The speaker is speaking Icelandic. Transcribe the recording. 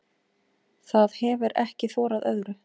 Það hefir ekki þorað öðru.